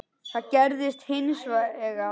Það gerðist hins vegar.